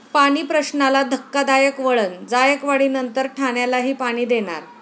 पाणीप्रश्नाला धक्कादायक वळण, जायकवाडीनंतर ठाण्यालाही पाणी देणार